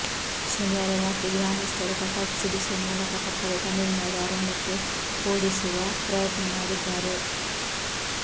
ಶನಿವಾರ ರಾತ್ರಿ ಗ್ರಾಮಸ್ಥರು ಪಟಾಕಿ ಸಿಡಿಸುವ ಮೂಲಕ ಪಕ್ಕದ ತಮಿಳು ನಾಡು ಅರಣ್ಯಕ್ಕೆ ಹೋಡಿಸುವ ಪ್ರಯತ್ನ ಮಾಡಿದ್ದಾರೆ